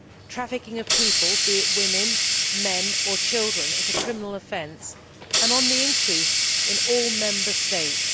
Trafficking of people, be it women, men or children, is a criminal offence and on the increase in all Member States.